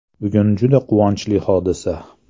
“Bugun juda quvonchli hodisa.